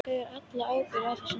Ég ber alla ábyrgð á þessu.